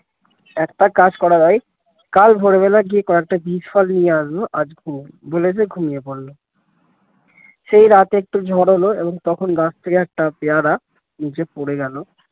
একটা কাজ করা যায় কাল ভোর বেলা গিয়ে কয়েকটা বিষ ফল নিয়ে আসবো আজ ঘুমাই বলে সে ঘুমিয়ে পড়ল সেই রাতে একটু ঝড় হল তখন গাছ থেকে একটা পেয়ারা নীচে পড়ে গেলো